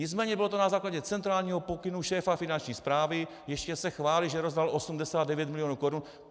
Nicméně bylo to na základě centrálního pokynu šéfa Finanční správy, ještě se chválí, že rozdal 89 milionů korun.